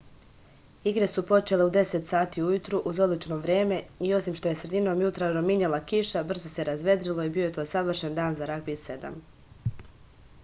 igre su počele u 10.00 ujutru uz odlično vreme i osim što je sredinom jutra rominjala kiša brzo se razvedrilo i bio je to savršen dan za ragbi 7